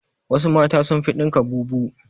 Wassu mata sun fi dinka bubu